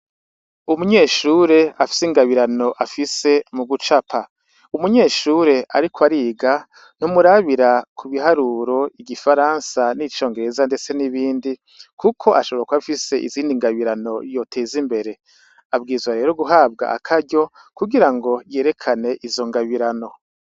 Umunyeshure afise ingabirano afise mu gucapa umunyeshure ariko ariga ntumurabira kubiharuro igifaransa, n’icongereza ndetse n' ibindi kuko ashobora kuba afise ingabirano yoteza imbere abwirizwa rero guhabwa akaryo kugira ngo yerekane izo ngabirano.